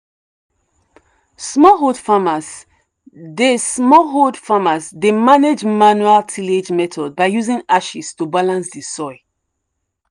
smallholder farmers dey smallholder farmers dey manage manual tillage methods by using ashes to balance the soil.